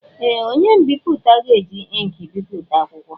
Ee! Onye mbipụta ga-eji ịnkị bipụta akwụkwọ.